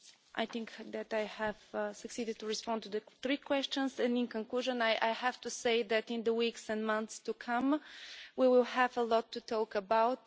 I think that I have succeeded in responding to the three questions and, in conclusion, I have to say that in the weeks and months to come we will have a lot to talk about.